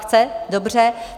Chce, dobře.